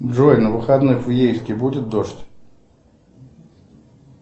джой на выходных в ейске будет дождь